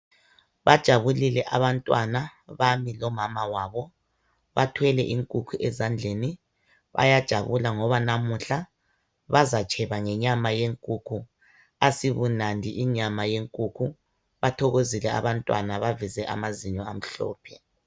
Bajabulile abantwana bami lomama wabo bathwele inkukhu ezandleni bayajabula ngoba namuhla bazatsheba ngenyama yenkukhu asibunandi inyama yenkukhu bathokozile abantwana baveze amazinyo amhlophe.